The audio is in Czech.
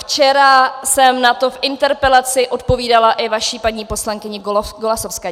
Včera jsem na to v interpelaci odpovídala i vaší paní poslankyni Golasowské.